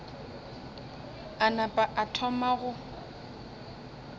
a napa a thoma go